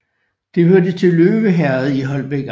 Det hørte til Løve Herred i Holbæk Amt